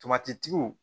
Tomatitigiw